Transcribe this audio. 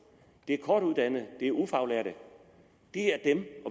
det er kortuddannede det er ufaglærte